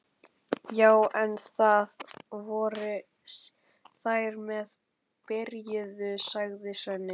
Já en, það voru þeir sem byrjuðu, sagði Svenni.